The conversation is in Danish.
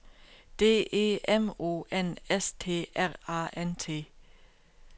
D E M O N S T R A N T